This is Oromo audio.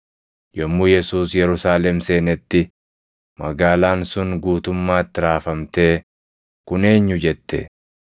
Yommuu Yesuus Yerusaalem seenetti, magaalaan sun guutummaatti raafamtee, “Kun eenyu?” jette.